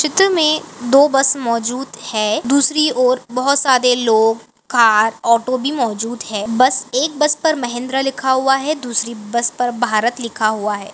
चित्र में दो बस मौजूद हैं दूसरी ओर बहुत सारे लोग कार ऑटो भी मौजूद हैं बस एक बस पर महेंद्रा लिखा हुआ हैं दूसरी बस पर भारत लिखा हुआ हैं।